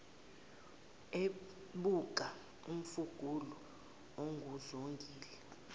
ebuka umfuqulu onguzongile